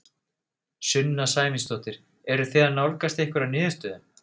Sunna Sæmundsdóttir: Eruð þið að nálgast einhverja niðurstöðu?